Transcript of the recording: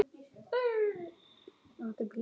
Þinn sonur, Friðjón Már.